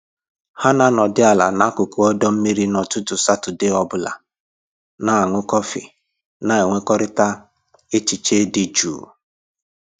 Ha na anọdị ala n'akụkụ ọdọ mmiri n'ụtụtụ Satọdee ọ bụla, na aṅụ kọfị na enwekọrịta echiche dị jụụ